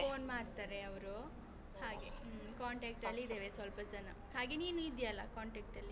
Phone ಮಾಡ್ತಾರೆ ಅವರೂ ಹಾಗೆ ಹ್ಮ್, contact ಅಲ್ಲಿ ಇದ್ದೇವೆ ಸ್ವಲ್ಪ ಜನ, ಹಾಗೆ ನೀನು ಇದ್ದೀಯಲ್ಲ contact ಅಲ್ಲಿ.